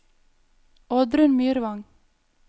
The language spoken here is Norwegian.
Oddrun Myrvang